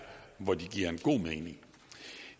hvor de giver god mening